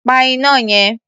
Pa iná yẹn.